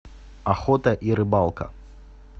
охота и рыбалка